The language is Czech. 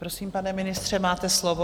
Prosím, pane ministře, máte slovo.